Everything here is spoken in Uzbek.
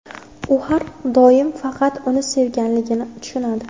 U har doim faqat uni sevganligini tushunadi.